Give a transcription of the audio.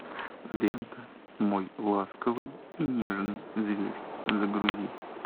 лента мой ласковый и нежный зверь загрузи